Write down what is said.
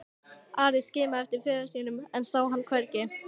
Ari skimaði eftir föður sínum en sá hann hvergi.